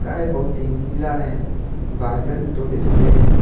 आज बहुत ही नीला है बादल थोड़े थोड़े हैं।